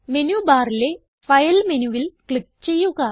menu ബാറിലെ file മെനുവിൽ click ചെയ്യുക